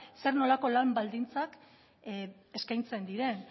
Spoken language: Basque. zer nolako lan baldintzak eskaintzen diren